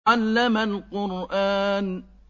عَلَّمَ الْقُرْآنَ